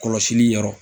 Kɔlɔsili yɔrɔ